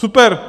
Super.